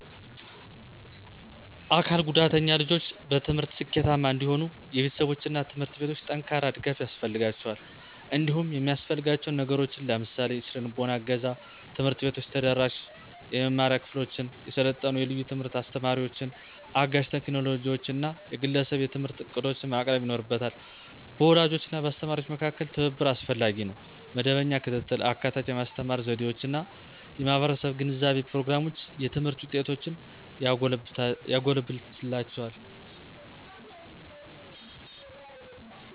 አካል ጉዳተኛ ልጆች በትምህርት ስኬታማ እንዲሆኑ የቤተሰቦች እና ትምህርት ቤቶች ጠንካራ ድጋፍ ያስፈልጋቸዋል። እንዲሁም የሚያሰፍልጋችው ነገሮችን ለምሳሌ -; የሰነልቦና እገዛ፣ ትምህርት ቤቶች ተደራሽ የመማሪያ ክፍሎችን፣ የሰለጠኑ የልዩ ትምህርት አስተማሪዎችን፣ አጋዥ ቴክኖሎጂዎችን እና የግለሰብ የትምህርት ዕቅዶችን ማቅረብ ይኖርበታ። በወላጆች እና በአስተማሪዎች መካከል ትብብር አስፈላጊ ነው. መደበኛ ክትትል፣ አካታች የማስተማር ዘዴዎች እና የማህበረሰብ ግንዛቤ ፕሮግራሞች የትምህርት ውጤቶችን ያጎለብትላቸዋል።